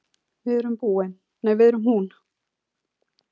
Við erum hún.